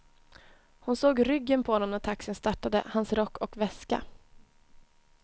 Hon såg ryggen på honom när taxin startade, hans rock och väska.